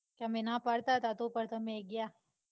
અમે ના પડતા તા તો પણ તમે ગયા.